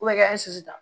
O bɛ kɛ sisu ta